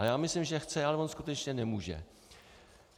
Ale já myslím, že chce, ale on skutečně nemůže.